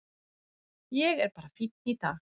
Ég er bara fínn í dag.